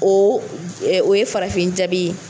O o ye farafin jabi ye